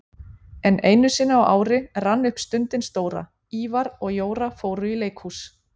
En einusinni á ári rann upp stundin stóra: Ívar og Jóra fóru í leikhús